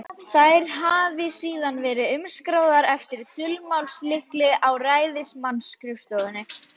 Þær hafi síðan verið umskráðar eftir dulmálslykli á ræðismannsskrifstofunni.